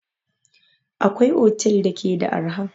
Akwai otel da ke da arha